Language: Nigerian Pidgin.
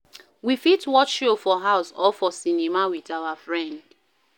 We fit watch show for house or for cinema with our friend